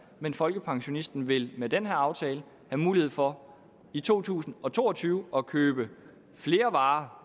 men folkepensionisterne vil med den her aftale have mulighed for i to tusind og to og tyve at købe flere varer